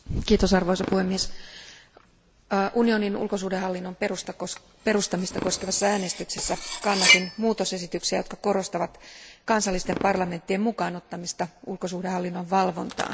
Arvoisa puhemies, unionin ulkosuhdehallinnon perustamista koskevassa äänestyksessä kannatin tarkistuksia, jotka korostavat kansallisten parlamenttien mukaan ottamista ulkosuhdehallinnon valvontaan.